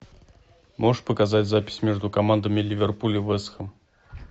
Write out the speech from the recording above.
можешь показать запись между командами ливерпуль и вест хэм